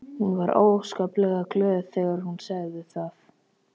Hún var óskaplega glöð þegar hún sagði það.